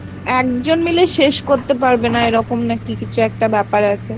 একজন মিলে শেষ করতে পারবে না এরকম নাকি কিছু একটা বাপের আছে